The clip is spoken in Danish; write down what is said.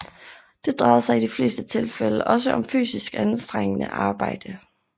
Det drejede sig i de fleste tilfælde også om fysisk anstrengende arbejde